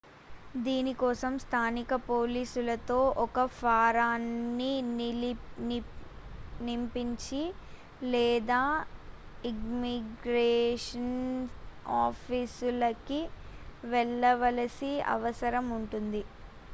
దీని కోసం స్థానిక పోలీసుతో ఒక ఫారాన్ని నింపించి లేదా ఇమ్మిగ్రేషన్ ఆఫీసులకి వెళ్లవలసిన అవసరం ఉంటుంది